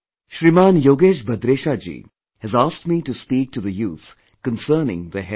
Shriman Yogesh Bhadresha Ji has asked me to speak to the youth concerning their health